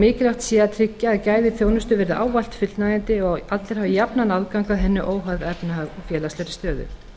mikilvægt sé að tryggja að gæði þjónustu verði ávallt fullnægjandi og að allir hafi jafnan aðgang að henni óháð efnahag og félagslegri stöðu